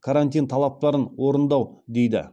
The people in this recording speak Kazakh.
карантин талаптарын орындау дейді